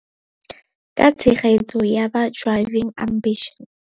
Ka tshegetso ya ba Driving Ambitions.